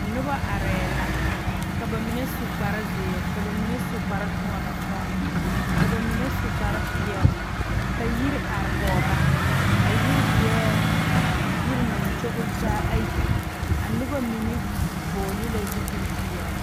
Noba are la ka bamine su kpare ziiri ka bamine su kpare toɔna toɔna ka bamine su kpare peɛle ka yiri are kɔŋ ba a yiri eŋ yiri naŋ kyoŋle kyoŋle taa a noba mine vɔgle la zupele .